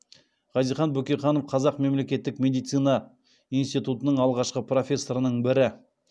хазихан бөкейханов қазақ мемлекеттік медицина институтының алғашқы профессорларының бірі